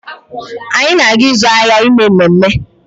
Anyị na-aga ịzụ ahịa ime ememe